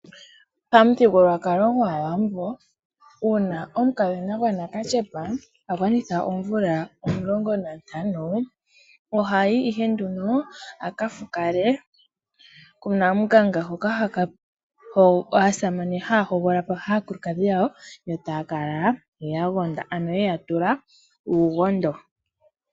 Pamuthigululwakalo gwAawambo una omukadhona gwanakashepa a gwanitha oomvula omulongo nantano ohayi ihe nduno aka fukale kunamunganga, hoka aasamane haya hogololapo aakulukadhi yawo, yo taya kala ye ya gonda, ano yeya tula uugondo.